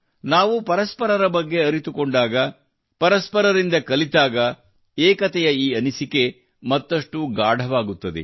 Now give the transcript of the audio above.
ನಾವು ಪರಸ್ಪರರ ಬಗ್ಗೆ ಅರಿತುಕೊಂಡಾಗ ಪರಸ್ಪರರಿಂದ ಕಲಿತಾಗ ಏಕತೆಯ ಈ ಅನಿಸಿಕೆ ಮತ್ತಷ್ಟು ಗಾಢವಾಗುತ್ತದೆ